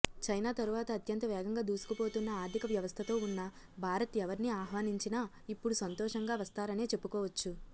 China తరువాత అత్యంత వేగంగా దూసుకుపోతోన్న ఆర్దిక వ్యవస్థతో వున్న భారత్ ఎవర్ని ఆహ్వానించినా ఇప్పుడు సంతోషంగా వస్తారనే చెప్పుకోవచ్చు